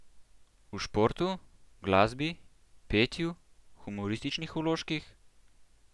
V športu, glasbi, petju, humorističnih vložkih?